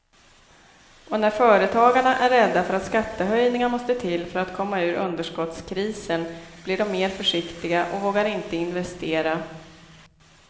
Och när företagarna är rädda för att skattehöjningar måste till för att komma ur underskottskrisen blir de mer försiktiga och vågar inte investera.